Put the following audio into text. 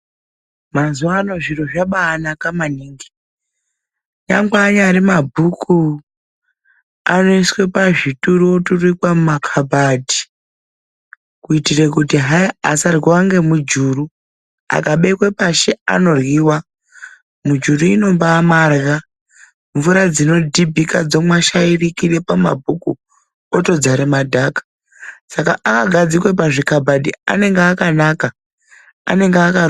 Mazuva ano zviro zvabanaka maningi. Nyangwe anyari mabhuku anoiswa pazvituro aturikwa mumakabhadhi, kuitira kuti hayi asaryiwa ngemujuru akabekwa pashi anoryiwa. Mujuru inombaamarya mvura dzinodhibhika dzomwashikira pamabhuku otodzare madhaka saka akagadzikwe pazvikabhadhi anenge akanaka. Anenge aka.